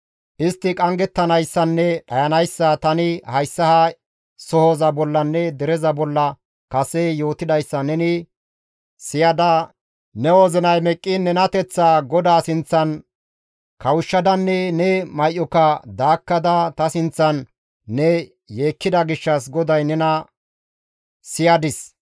istti qanggettanayssanne dhayanayssa tani hayssa ha sohoza bollanne dereza bolla kase yootidayssa neni siyada ne wozinay meqqiin nenateththaa GODAA sinththan kawushshadanne ne may7oka daakkada ta sinththan ne yeekkida gishshas GODAY nena siyadis.